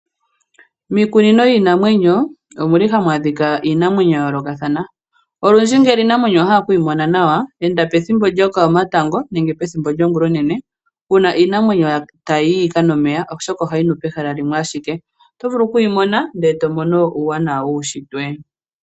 Miikunino yiinamwenyo omuli hamu adhika iinamwenyo ya yoolokathana . Olundji ngele iinamwenyo owahala okuyi mona nawa enda pethimbo lyokomatango nenge pethimbo lyongula onene uuna iinamwenyo tayiyi yikanwe omeya oshoka ohayinu pehala limwe ashike. Otovulu okuyimona ndele tomono uuwanawa wuushitwe.